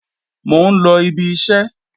Mò ń lọ ibi iṣẹ́